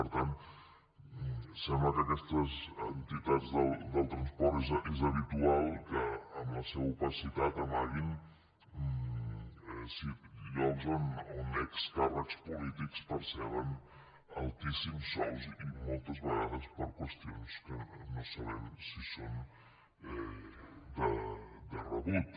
per tant sembla que aquestes entitats del transport és habitual que amb la seva opacitat amaguin llocs on excàrrecs polítics perceben altíssims sous i moltes vegades per qüestions que no sabem si són de rebut